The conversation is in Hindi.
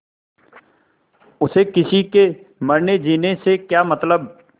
उसे किसी के मरनेजीने से क्या मतलब